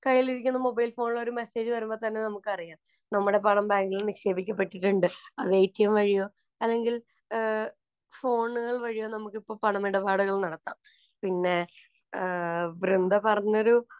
കൈയിലിരിക്കുന്ന mobile‍ ഫോണില്‍ ഒരു message വരുമ്പോള്‍ തന്നെ നമുക്കറിയാം നമ്മുടെ പണം ബാങ്കില്‍ നിക്ഷേപിക്കപ്പെട്ടിട്ടുണ്ട്. അത് എടിഎം വഴിയോ അല്ലെങ്കിൽ ഫോണുകള്‍ വഴിയോ നമുക്കിപ്പോള്‍ പണമിടപാടുകള്‍ നടത്താം. പിന്നെ വൃന്ദ പറഞ്ഞൊരു